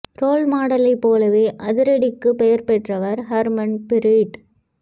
role மாடலைப் போலவே அதிரடிக்கு பெயர் பெற்றவர் ஹர்மன் பிரீட்